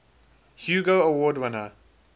hugo award winner